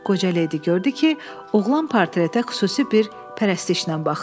Qoca ledi gördü ki, oğlan portretə xüsusi bir pərəstişlə baxır.